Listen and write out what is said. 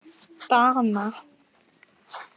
Dana